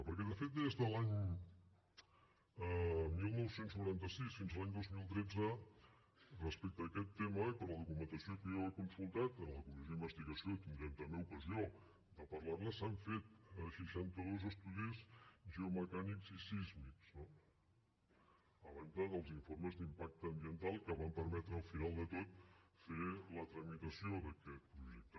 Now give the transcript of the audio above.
perquè de fet des de l’any dinou noranta sis fins a l’any dos mil tretze respecte a aquest tema i per la documentació que jo he consultat en la comissió d’investigació tindrem també ocasió de parlar ne s’han fet seixanta dos estudis geomecànics i sísmics no a banda dels informes d’impacte ambiental que van permetre al final de tot fer la tramitació d’aquest projecte